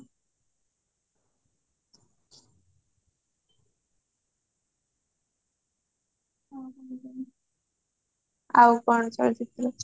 ଆଉ କଣ ଚଳଚିତ୍ର